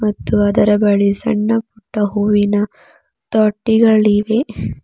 ಮತ್ತು ಅದರ ಬಳಿ ಸಣ್ಣ ಪುಟ್ಟ ಹೂವಿನ ತೊಟ್ಟಿಗಳಿವೆ.